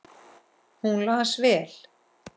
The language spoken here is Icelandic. Hún las vel.